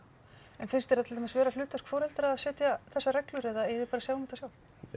en finnst þér það til dæmis vera hlutverk foreldra að setja þessar reglur eða eigið þið bara að sjá um þetta sjálf